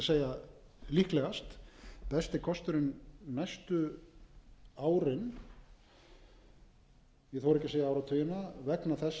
segja líklegast besti kosturinn næstu árin ég þori ekki að segja áratugina vegna þess að framleiðslan er tiltölulega ör